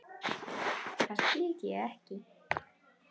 Það skildi ég ekki.